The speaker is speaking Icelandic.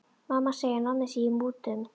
Mamma segir að Nonni sé í mútum.